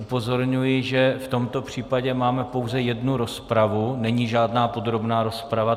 Upozorňuji, že v tomto případě máme pouze jednu rozpravu, není žádná podrobná rozprava.